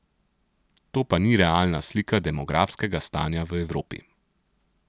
To pa ni realna slika demografskega stanja v Evropi.